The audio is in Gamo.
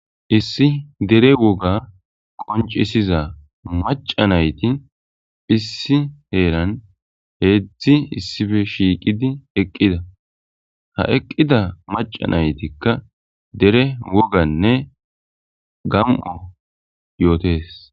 Issi dere woga qoncisiza maca nayti issi heeran heedzdzi issippe shiiqidi eqqida. ha eqqida maca naytikka dere woganne gam7o yootes.